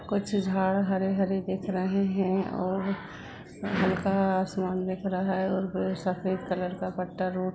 खुच झाड़ हरे हरे दिख रहे है और हल्का आसमान दिख रहा है और सफ़ेद कलर का पट्टा रोड --